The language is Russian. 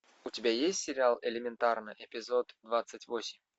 у тебя есть сериал элементарно эпизод двадцать восемь